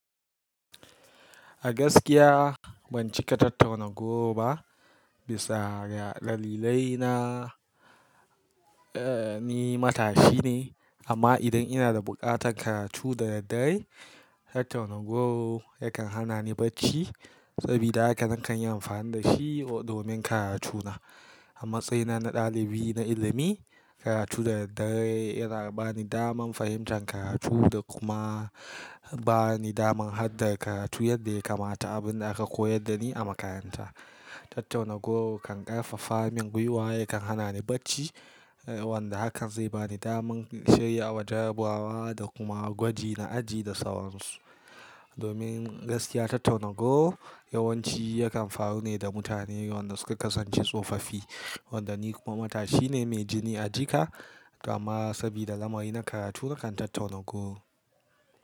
A gaskiya ban cika tat-tauna goro ba, bisa ga dalilai na, eh ni matashi ne amma idan ina da buƙatar karatu da daddare, tat-tauna goro yakan hana ni bacci. Sabida haka nakan yi amfani da shi domin karatuna. A matsayina na ɗalibi na ilimi, karatu da daddare yana bani daman fahimtan karatu da kuma bani daman haddan karatu yadda ya kamata, abun da aka koyar da ni a makaranta. Tat‐tauna goro kan ƙarfafa min guiwa, yakan hana ni bacci wanda hakan zai bani daman shirya wa jarabawa da kuma gwaji na aji da sauransu. Domin gaskiya tat-tauna goro yawanci yakan faru ne da mutanen wanda suka kasance tsofaffi, wanda ni kuma matashi ne mai jini a jika, amma sabida lamari na karatu nakan tat-tauna goro.